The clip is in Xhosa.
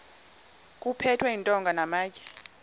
kuphethwe iintonga namatye